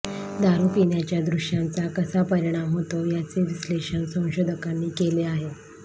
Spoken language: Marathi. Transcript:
दारू पिण्याच्या दृश्यांचा कसा परिणाम होतो याचे विश्लेषण संशोधकांनी केले आहे